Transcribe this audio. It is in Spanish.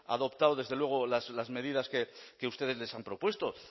adoptado desde luego las medidas que ustedes les han propuesto